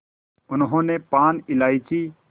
उन्होंने पान इलायची